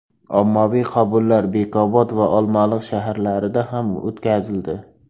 Ommaviy qabullar Bekobod va Olmaliq shaharlarida ham o‘tkazildi.